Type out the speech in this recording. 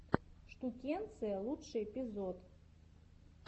штукенция лучший эпизод